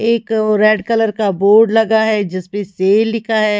एक red colour का board लगा है जिस पे सेल लिखा है।